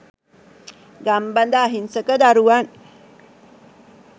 ගම්බද අහිංසක දරුවන්